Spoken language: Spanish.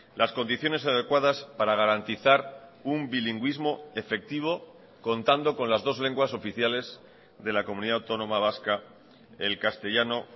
las condiciones adecuadas para garantizar un bilingüismo efectivo contando con las dos lenguas oficiales de la comunidad autónoma vasca el castellano